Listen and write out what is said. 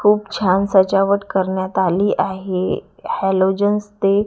खूप छान सजावट करण्यात आली आहे हलोजन्स ते--